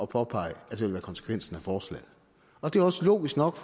påpege at det vil være konsekvensen af forslaget og det er også logisk nok